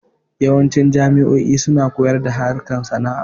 Yawanci jamo'o'i suna koyar da harkan sana'a